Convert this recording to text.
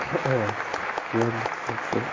ладно всё всё